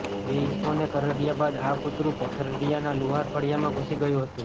બે ઈસમોને કરડયા બાદ આ કૂતરું પથરાડિયાના લુહાર ફળિયામાં ઘૂસી ગયું હતું